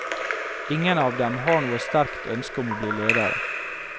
Ingen av dem har noe sterkt ønske om å bli ledere.